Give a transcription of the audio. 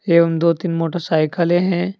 एवं दो तीन मोटरसाइकले हैं।